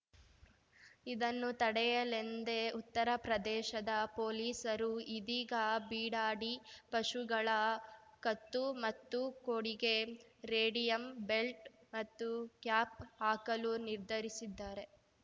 ಇದನ್ನು ತಡೆಯಲೆಂದೇ ಉತ್ತರಪ್ರದೇಶದ ಪೊಲಿಸರು ಇದೀಗ ಬೀಡಾಡಿ ಪಶುಗಳ ಕತ್ತು ಮತ್ತು ಕೋಡಿಗೆ ರೇಡಿಯಂ ಬೆಲ್ಟ್‌ ಮತ್ತು ಕ್ಯಾಪ್‌ ಹಾಕಲು ನಿರ್ಧರಿಸಿದ್ದಾರೆ